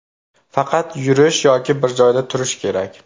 Faqat yurish yoki bir joyda turish kerak.